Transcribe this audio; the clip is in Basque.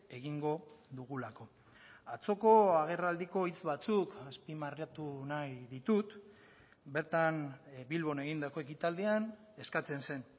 egingo dugulako atzoko agerraldiko hitz batzuk azpimarratu nahi ditut bertan bilbon egindako ekitaldian eskatzen zen